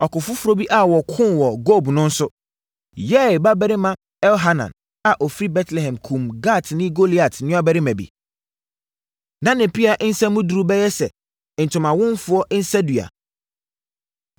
Ɔko foforɔ bi a wɔkoo wɔ Gob no nso, Yair babarima Elhanan a ɔfiri Betlehem kumm Gatni Goliat nuabarima bi. Na ne pea nsa mu duru bɛyɛ sɛ ntomanwomfoɔ nsadua.